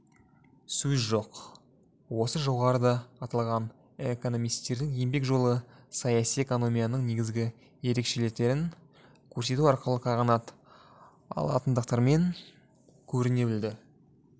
сөз жоқ осы жоғарыда аталған экономистердің еңбек жолы саяси экономияның негізгі ерекшеліктерін көрсету арқылы қанағат алатындықтарынмен көріне білді